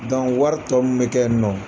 wari tɔ min bɛ kɛ yen nɔ